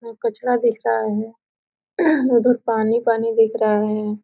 यहाँ कचरा दिख रहा है उधर पानी-पानी दिख रहा है।